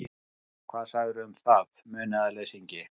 Hvað segirðu um það, munaðarleysingi?